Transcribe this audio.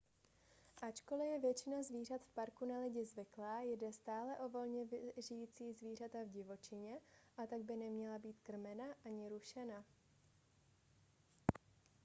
ačkoli je většina zvířat v parku na lidi zvyklá jde stále o volně žijící zvířata v divočině a tak by neměla být krmena ani rušena